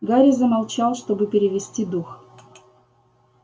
гарри замолчал чтобы перевести дух